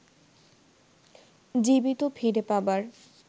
জীবিত ফিরে পাবার